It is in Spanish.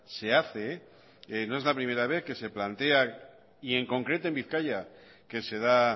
se hace no es la primera vez que se plantea y en concreto en bizkaia que se da